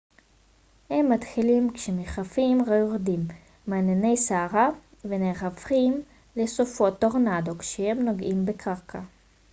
הם מתחילים כמשפכים היורדים מענני סערה ונהפכים ל סופות טורנדו כשהם נוגעים בקרקע